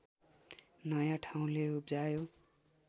नया ठाउँले उब्जायो